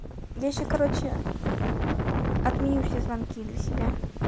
я сейчас короче отменю все звонки для себя